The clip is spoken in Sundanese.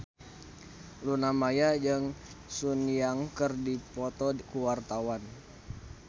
Luna Maya jeung Sun Yang keur dipoto ku wartawan